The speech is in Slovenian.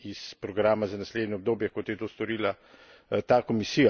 s programa za naslednje obdobje, kot je to storila ta komisija.